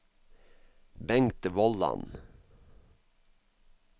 Bengt Vollan